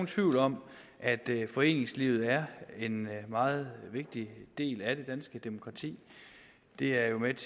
tvivl om at foreningslivet er en meget vigtig del af det danske demokrati det er jo ikke